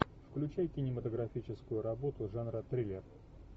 включай кинематографическую работу жанра триллер